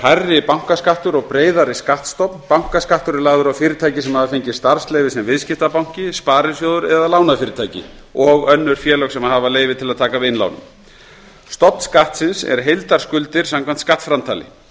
hærri bankaskattur og breiðari skattstofn bankaskattur er lagður á fyrirtæki sem hafa fengið starfsleyfi sem viðskiptabanki sparisjóður eða lánafyrirtæki og önnur félög sem hafa leyfi til að taka við innlánum stofn skattsins er heildarskuldir samkvæmt skattframtali